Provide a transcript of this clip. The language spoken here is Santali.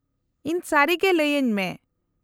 -ᱤᱧ ᱥᱟᱹᱨᱤᱜᱮ ᱞᱟᱹᱭᱟᱹᱧ ᱢᱮ ᱾